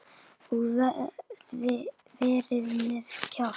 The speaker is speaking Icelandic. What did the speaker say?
Og verið með kjaft.